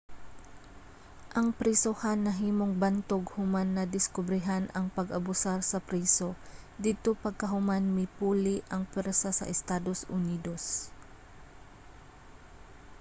ang prisohan nahimong bantog human nadiskobrehan ang pag-abusar sa priso didto pagkahuman mipuli ang pwersa sa estados unidos